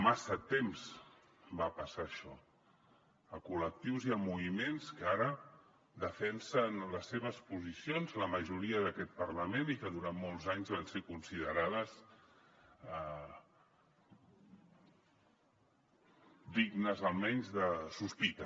massa temps va passar això a col·lectius i a moviments que ara defensen les seves posicions la majoria d’aquest parlament i que durant molts anys van ser considerades dignes almenys de sospita